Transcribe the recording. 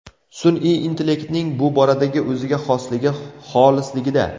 Sun’iy intellektning bu boradagi o‘ziga xosligi xolisligida.